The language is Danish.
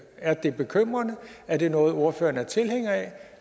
er det bekymrende er det noget ordføreren er tilhænger af